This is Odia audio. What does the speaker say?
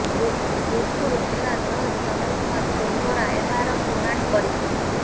ଯୋଧପୁର ଜିଲ୍ଲା ଜଜ୍ ଚନ୍ଦ୍ର କୁମାର ସୋନଗରା ଏହାର ଶୁଣାଣି କରିଥିଲେ